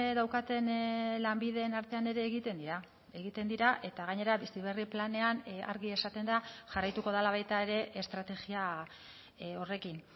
daukaten lanbideen artean ere egiten dira egiten dira eta gainera bizi berri planean argi esaten da jarraituko dela baita ere estrategia horrekin